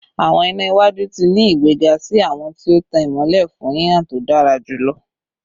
Awọn ina iwaju ti ni igbega si awọn ti o tan imọlẹ fun hihan to dara julọ